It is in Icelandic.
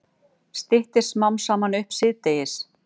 Styttir smám saman upp síðdegis